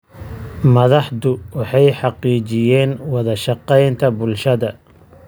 Madaxdu waxay xaqiijiyeen wada shaqaynta bulshada.